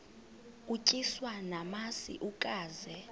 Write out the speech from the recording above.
utyiswa namasi ukaze